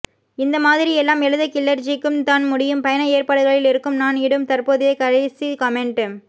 இந்தமாதிரி எல்லாம் எழுத கில்லர்ஜிக்குத் தான் முடியும் பயண ஏற்பாடுகளில் இருக்கும் நான் இடும் தற்போதைய கடைசி காமெண்ட்